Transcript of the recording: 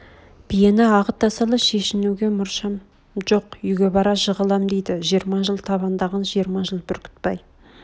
биен ағыта сала шешніуге мұршам жоқ үйге бара жығылам дейді жиырма жыл табандаған жиырма жыл бүркітбай